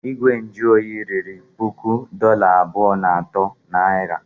Igwe nju oyi riri puku dollar abụọ na otu narị.